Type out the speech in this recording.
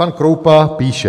Pan Kroupa píše.